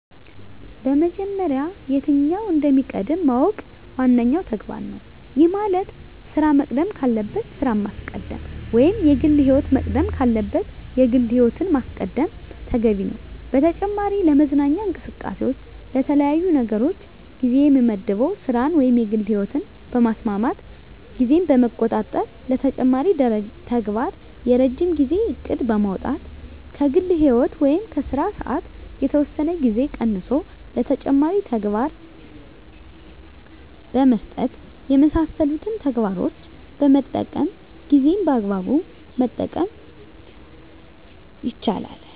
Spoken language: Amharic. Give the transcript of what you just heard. በመጀመሪያ የትኛው እንደሚቀድም ማወቅ ዋነኛው ተግባር ነው። ይህ ማለት ስራ መቅደም ካለበት ስራን ማስቀደም ወይም የግል ህይወት መቅደም ካለበት የግል ህይወትን ማስቀደም ተገቢ ነው። በተጨማሪ ለመዝናኛ እንቅስቃሴዎች ለተለያዩ ነገሮች ጊዜ የምመድበው ስራን ወይም የግል ህይወትን በማስማማት ጊዜን በመቆጣጠር ለተጨማሪ ተግባር የረጅም ጊዜ እቅድ በማውጣት ከግል ህይወት ወይም ከስራ ሰዓት የተወሰነ ጊዜ ቀንሶ ለተጨማሪ ተግባር በመስጠት የመሳሰሉትን ተግባሮችን በመጠቀም ጊዜን በአግባቡ መጠቀም ይቻላል።